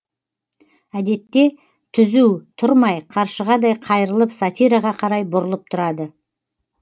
әдетте түзу тұрмай қаршығадай қайрылып сатираға қарай бұрылып тұрады